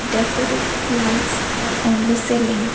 decorative lights are on the ceiling.